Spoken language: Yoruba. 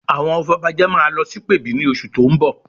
Àwọn afọbajẹ máa lọ sí ìpèbí ní oṣù tó ń bọ̀